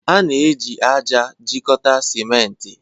A na-eji ájá ejikọta simenti.